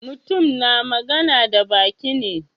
Mutum na magana da baki ne.